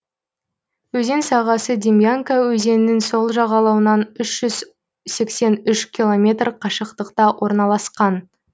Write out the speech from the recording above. өзен сағасы демьянка өзенінің сол жағалауынан үш жүз сексен үш километр қашықтықта орналасқан